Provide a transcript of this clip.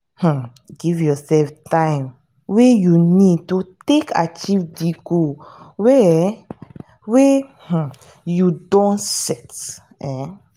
um give your sef time wey you need to take achieve di goal wey um wey um you don set um